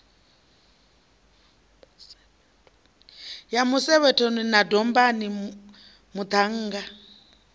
ya musevhethoni na dombani muṱhannga